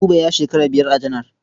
Buba ya shekara biyar a janar.